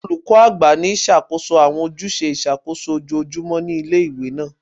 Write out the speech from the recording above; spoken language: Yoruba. Olukọ agba ni ṣakoso awọn ojuse iṣakoso ojoojumọ ti ile-iwe naa